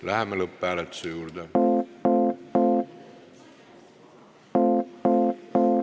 Läheme lõpphääletuse juurde.